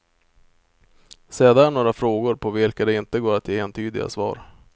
Se där några frågor på vilka det inte går att ge entydiga svar.